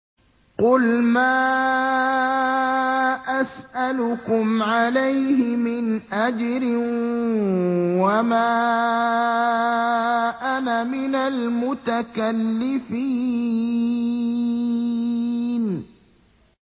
قُلْ مَا أَسْأَلُكُمْ عَلَيْهِ مِنْ أَجْرٍ وَمَا أَنَا مِنَ الْمُتَكَلِّفِينَ